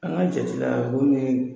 An ka jate la boon nin ye